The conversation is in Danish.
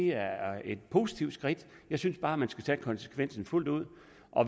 er et positivt skridt jeg synes bare at man skal tage konsekvensen fuldt ud